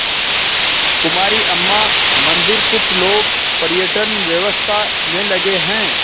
कुमारी अम्मा मंदिरकुछ लोग पर्यटन व्यवसाय में लगे हैं